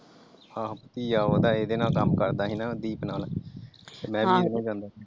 ਆਹੋ ਭਤੀਜਾ ਉਹਦਾ ਇਹਦੇ ਨਾਲ ਕੰਮ ਕਰਦਾ ਸੀ ਹਣਾ ਦੀਪ ਨਾਲ ਮੈ ਵੀ ਉਹਦੇ ਨਾਲ ਜਾਂਦਾ ਸੀ ।